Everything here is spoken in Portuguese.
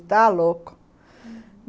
louco, uhum.